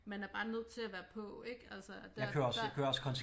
Man er bare nødt til at være på ik altså og der der